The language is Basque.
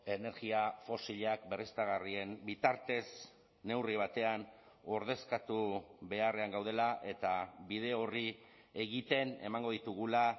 energia fosilak berriztagarrien bitartez neurri batean ordezkatu beharrean gaudela eta bide horri egiten emango ditugula